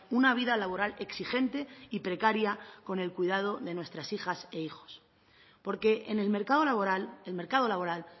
una vida laboral exigente y precaria con el cuidado de nuestras hijas e hijos porque en el mercado laboral el mercado laboral